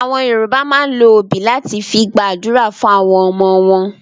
Àwọn Yorùbá máa ń lo obì láti fi gba àdúrà fún àwọn ọmọ wọn.